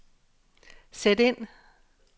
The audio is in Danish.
sæt ind